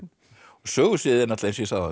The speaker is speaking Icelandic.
sögusviðið er eins og ég sagði áðan